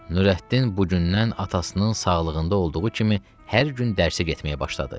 Nurəddin bugündən atasının sağlığında olduğu kimi hər gün dərsə getməyə başladı.